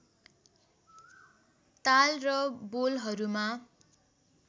ताल र बोलहरूमा